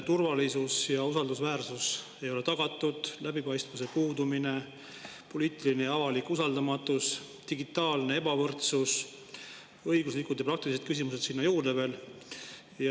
Turvalisus ja usaldusväärsus ei ole tagatud, läbipaistvuse puudumine, poliitiline ja avalik usaldamatus, digitaalne ebavõrdsus, õiguslikud ja praktilised küsimused sinna juurde veel.